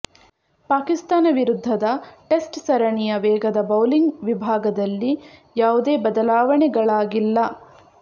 ಪಾಕಿಸ್ತಾನ ವಿರುದ್ಧದ ಟೆಸ್ಟ್ ಸರಣಿಯ ವೇಗದ ಬೌಲಿಂಗ್ ವಿಭಾಗದಲ್ಲಿ ಯಾವುದೇ ಬದಲಾವಣೆಗಳಾಗಿಲ್ಲ